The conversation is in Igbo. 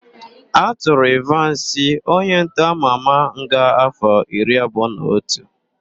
A tụrụ Ịvansị, onyentọ ama ama nga áfọ̀ iri abụọ na otu.